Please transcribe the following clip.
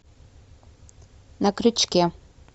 на крючке